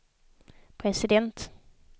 president